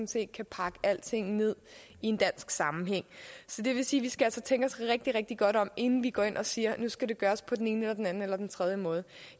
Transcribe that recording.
set kan pakke alting ned i en dansk sammenhæng så det vil sige at vi skal tænke os rigtig rigtig godt om inden vi går ind og siger at nu skal det gøres på den ene eller den anden eller den tredje måde